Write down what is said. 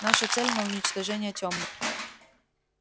наша цель не уничтожение тёмных